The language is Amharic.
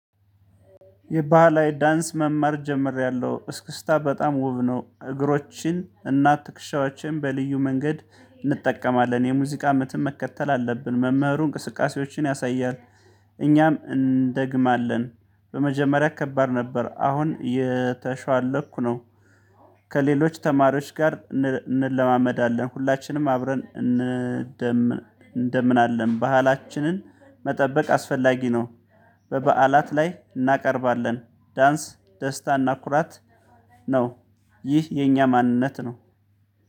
የባህላዊ ዳንስ መማር ጀምሬያለሁ። እስክስታ በጣም ውብ ነው። እግሮችን እና ትክሻዎችን በልዩ መንገድ እንጠቀማለን። የሙዚቃ ምትም መከተል አለብን። መምህሩ እንቅስቃሴዎችን ያሳያል። እኛም እንደግማለን። በመጀመሪያ ከባድ ነበር አሁን የተሻለኩ ነው። ከሌሎች ተማሪዎች ጋር እንለማመዳለን። ሁላችንም አብረን እንደምን አለን። ባህላችንን መጠበቅ አስፈላጊ ነው። በበዓላት ላይ እናቀርባለ። ን ዳንስ ደስታ እና ኩራት ነው። ይህ የኛ ማንነት ነው።